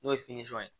N'o ye ye